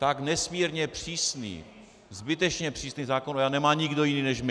Tak nesmírně přísný, zbytečně přísný zákon o EIA nemá nikdo jiný než my.